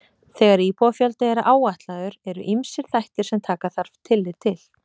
Þegar íbúafjöldi er áætlaður eru ýmsir þættir sem taka þarf tillit til.